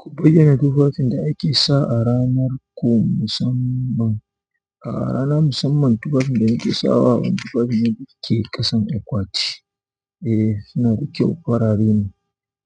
Ku bayyana tufafin da ake sa a ranar ku musamman. A rana musamman tufafin da nake sawa wani tufafi ne da ke ƙasan akwati. Eh suna da kyau farare ne.